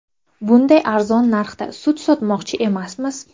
Bunday arzon narxda sut sotmoqchi emasmiz.